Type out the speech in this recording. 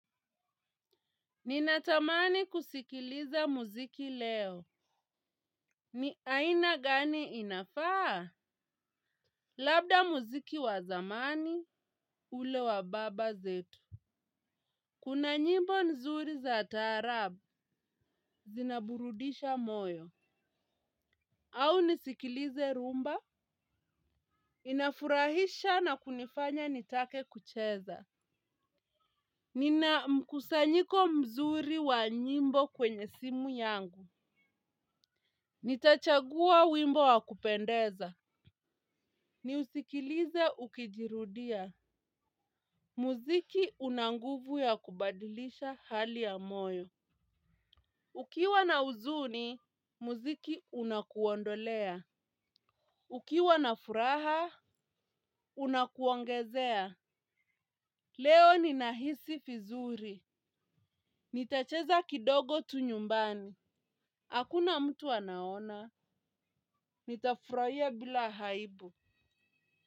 Ninatamani kusikiliza muziki leo. Ni aina gani inafaa? Labda muziki wa zamani, ule wa baba zetu. Kuna nyimbo nzuri za taarabu, zinaburudisha moyo. Au nisikilize rumba, inafurahisha na kunifanya nitake kucheza. Nina mkusanyiko mzuri wa nyimbo kwenye simu yangu. Nitachagua wimbo wa kupendeza. Niusikilize ukijirudia. Muziki unanguvu ya kubadilisha hali ya moyo. Ukiwa na huzuni, muziki unakuondolea. Ukiwa na furaha, unakuongezea. Leo ni nahisi vizuri. Nitacheza kidogo tu nyumbani. Hakuna mtu anaona nitafurahia bila aibu.